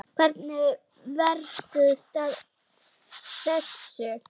Hvernig ferðu að þessu?